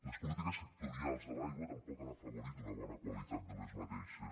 les polítiques sectorials de l’aigua tampoc han afavorit una bona qualitat d’aquestes